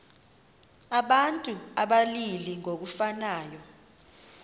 abantu abalili ngokufanayo